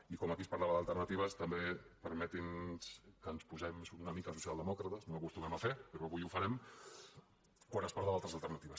i com aquí es parlava d’alternatives també permeti’ns que ens posem una mica socialdemòcrates no ho acostumem a fer però avui ho farem quan es parla d’altres alternatives